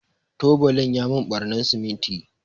tubalin ya mun ɓarnan siminti.